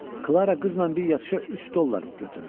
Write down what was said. Klara qızla bir yatışa üç dollar götürür.